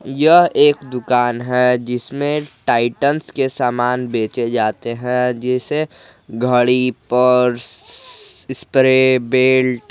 यह एक दुकान है जिसमें टाइटंस के समान बेचे जाते हैं जैसे घड़ी पर्स स्प्रे बेल्ट --